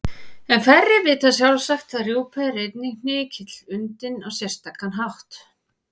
En færri vita sjálfsagt að rjúpa er einnig hnykill undinn á sérstakan hátt.